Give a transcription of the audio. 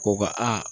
Ko ka